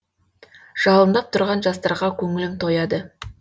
жалындап тұрған жастарға көңілім тойады